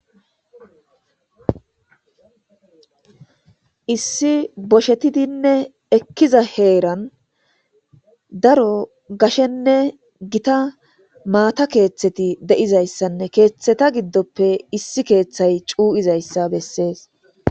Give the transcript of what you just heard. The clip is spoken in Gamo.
Issi boshetidinne ekkiza heeran daro gashenne gita maata keeththeti deizayssanne keeththeta giddoppe issi keeththay cuu'izayssa bessees.